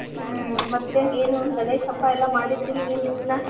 ಹ್ಮ್ ಮತ್ತೆ ಏನು ಗಣೇಶ್ ಹಬ್ಬಾ ಎಲ್ಲಾ ಮಾಡಿದ್ರಿ ಏನಿಲ್ಲಾ?